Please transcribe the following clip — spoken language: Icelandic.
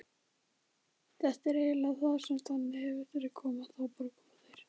Þetta eru eiginleikar sem eru þannig að ef þeir koma, þá bara koma þeir.